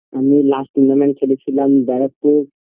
এমনি last মনে হয় আমি খেলেছিলাম ব্যারাকপুর